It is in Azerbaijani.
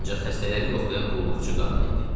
ancaq xəstələri yoxlayan qulluqçu qadın idi.